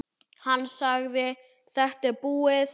Hann sagði: Þetta er búið.